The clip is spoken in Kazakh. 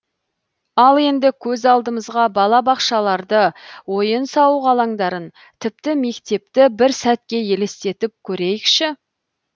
ал енді көз алдымызға балабақшаларды ойын сауық алаңдарын тіпті мектепті бір сәтке елестетіп көрейікші